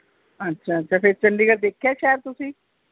ਅੱਛਾ ਅੱਛਾ ਫੇਰ ਚੰਡੀਗੜ੍ਹ ਦੇਖਿਆ ਸ਼ਹਿਰ ਤੁਸੀ